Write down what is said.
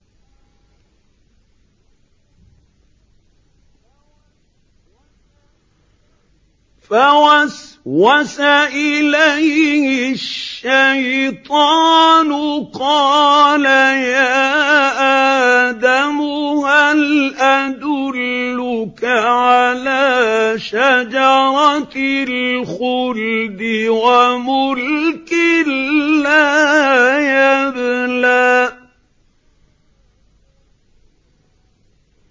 فَوَسْوَسَ إِلَيْهِ الشَّيْطَانُ قَالَ يَا آدَمُ هَلْ أَدُلُّكَ عَلَىٰ شَجَرَةِ الْخُلْدِ وَمُلْكٍ لَّا يَبْلَىٰ